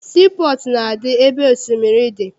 Sii pọọtụ na-adị ebe osimiri dị.